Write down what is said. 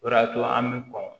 O de y'a to an bɛ kɔn